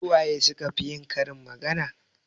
Su waye su ka fi yin karin magana?